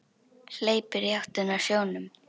Hleypur í áttina að sjónum.